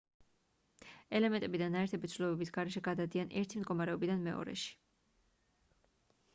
ელემენტები და ნაერთები ცვლილებების გარეშე გადადიან ერთი მდგომარეობიდან მეორეში